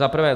Za prvé.